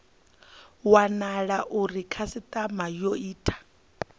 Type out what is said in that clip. wanala uri khasitama yo ita